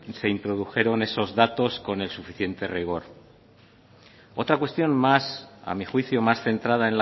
se introdujeron esos datos con el suficiente rigor otra cuestión más a mi juicio más centrada